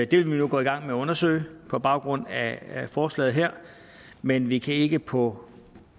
det vil vi gå i gang med at undersøge på baggrund af forslaget her men vi kan ikke på